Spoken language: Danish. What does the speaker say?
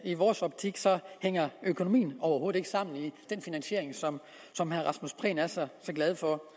i vores optik hænger økonomien overhovedet ikke sammen i den finansiering som som herre rasmus prehn er så glad for